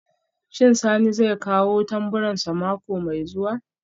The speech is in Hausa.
Shin Sani zai kawo tamburansa mako mai zuwa?